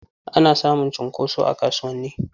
Ana samun cunkoso a kasuwanni.